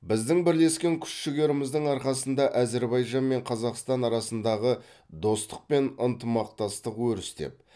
біздің бірлескен күш жігеріміздің арқасында әзербайжан мен қазақстан арасындағы достық пен ынтымақтастық өрістеп